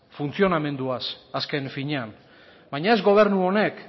funtzionamenduaz azken finean baina ez gobernu honek